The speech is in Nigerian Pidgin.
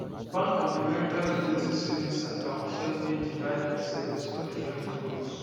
bank of america rotating savings account help me divide my savings for different goals